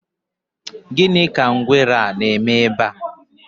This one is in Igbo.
gini ka ngwere a na-eme ebe a?